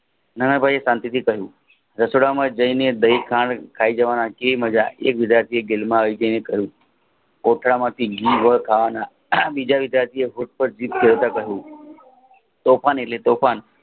નાનાભાઈએ શાંતિ થી કહ્યું રસોડા માં જાયને કોથળામાંથી ઘી ગોળ ખાવાના બીજા વિદ્યાર્થી પુસ્તક જોતા કહ્યું તોફાન એટલે તોફાન